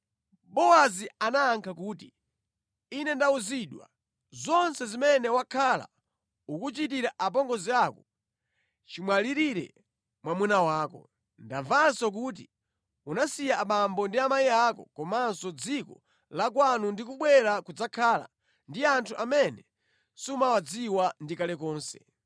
Bowazi anayankha kuti, “Ine ndawuzidwa zonse zimene wakhala ukuchitira apongozi ako chimwalirire mwamuna wako. Ndamvanso kuti unasiya abambo ndi amayi ako komanso dziko la kwanu ndi kubwera kudzakhala ndi anthu amene sumawadziwa ndi kale lonse.